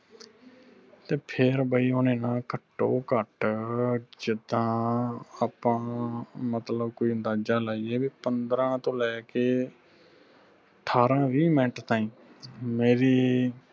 ਤੇ ਫਿਰ ਬਈ ਓਹਨੇ ਨਾ ਘਟੋ ਘਟ ਜਿੰਦਾ ਆਪਾ ਨੂੰ ਮਤਲਬ ਕੋਈ ਅੰਦਾਜਾ ਲਾਈਏ ਬਈ ਪੰਦਰਾਂ ਤੋਂ ਲੈ ਕੇ ਅਠਾਰਾਂ ਵੀਹ ਮਿੰਟ ਤਾਈ ਮੇਰੀ